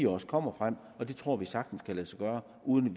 også kommer frem og det tror vi sagtens kan lade sig gøre uden